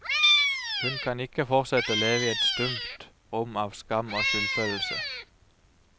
Hun kan ikke fortsette å leve i et stumt rom av skam og skyldfølelse.